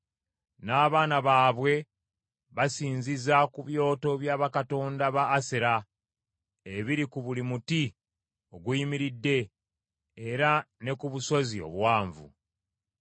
N’abaana baabwe basinziza ku byoto bya bakatonda ba Asera ebiri ku buli muti oguyimiridde era ne ku busozi obuwanvu.